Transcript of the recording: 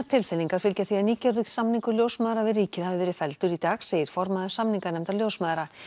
tilfinningar fylgja því að nýgerður samningur ljósmæðra við ríkið hafi verið felldur í dag segir formaður samninganefndar ljósmæðra